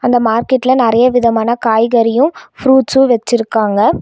இந்த மார்க்கெட்ல நறைய விதமான காய்கறியும் ஃப்ரூட்ஸும் வெச்சிருக்காங்க.